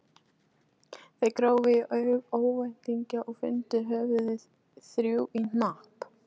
Þeir grófu í örvæntingu og fundu höfuðin, þrjú í hnapp.